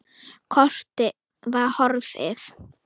Kortið var horfið!